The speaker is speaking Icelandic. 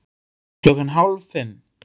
Klukkan hálf fimm